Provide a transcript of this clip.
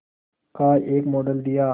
का एक मॉडल दिया